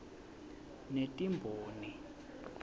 netimboni